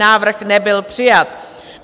Návrh nebyl přijat.